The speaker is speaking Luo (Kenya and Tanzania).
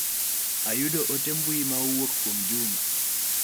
Ayudo ote mbui ma owuok kuom Juma.